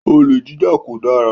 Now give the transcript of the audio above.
Olè jíjà kò dára